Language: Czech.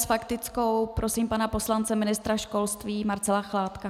S faktickou prosím pana poslance ministra školství Marcela Chládka.